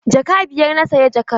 Jaka biyar na saya jakar.